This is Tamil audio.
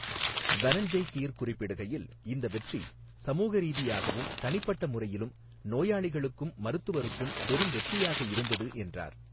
தனஞ்செய் கீர் குறிப்பிடுகையில், 'இந்த வெற்றி சமூக ரீதியாகவும், தனிப்பட்ட முறையிலும், நோயாளிகளுக்கும், மருத்துவருக்கும் பெரும் வெற்றியாக இருந்தது' என்றார்.